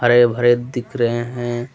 हरे भरे दिख रहें हैं।